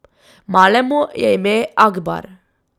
Malemu je ime Akbar.